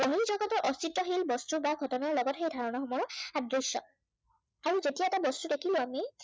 অস্তিত্বহীন বস্তু বা ঘটনাৰ লগত সেই ধৰনাসমূহৰ সাদৃশ্য়। আৰু যেতিয়া এটা বস্তু দেখিলো আমি